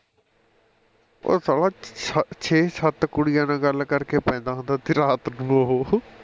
ਉਹ ਸਾਲਾਂ ਸੱਤ ਛੇ ਸੱਤ ਕੁੜੀਆਂ ਨਾਲ ਗੱਲ ਕਰ ਕੇ ਪੈਂਦਾ ਹੁੰਦਾ ਸੀ ਰਾਤ ਨੂੰ ਉਹੋ